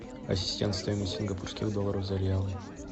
ассистент стоимость сингапурских долларов за реалы